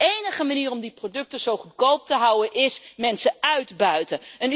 De enige manier om die producten zo goedkoop te houden is mensen uitbuiten.